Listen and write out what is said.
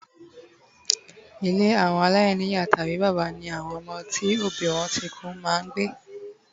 ile awo alaini iya tabi baba ni awon omo ti obi won ti ku ma ngbe